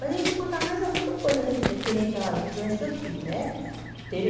Mas eu ia te contar mais alguma coisa re referente às visões que eu tive né. Teve